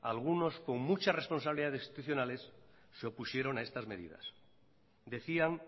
algunos con muchas responsabilidades institucionales se opusieron a estas medidas decían